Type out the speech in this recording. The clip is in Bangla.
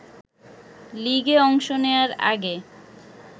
লিগে অংশ নেয়ার আগে